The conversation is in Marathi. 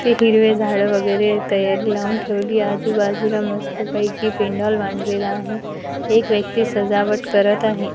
ते हिरवे झाड वगैरे तयारी लावून ठेवली आजूबाजूला मस्तपैकी पेंडॉल बांडलेला आहे एक व्यक्ती सजावट करत आहे.